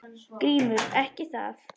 GRÍMUR: Ekki það?